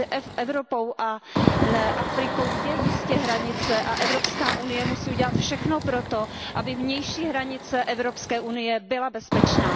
Mezi Evropou a Afrikou je jistě hranice a Evropská unie musí udělat všechno proto, aby vnější hranice Evropské unie byla bezpečná.